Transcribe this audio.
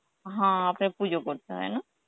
হ্যাঁ আপনাকে পুজো করতে হয় না?